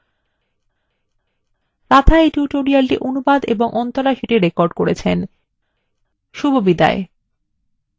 রাধা এই tutorialটি অনুবাদ এবং অন্তরা সেটি রেকর্ড করেছেন এই tutorialএ অংশগ্রহন করার জন্য ধন্যবাদ শুভবিদায়